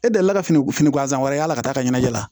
E delila ka fini gansan wɛrɛ y'a la ka taa ɲɛnajɛ la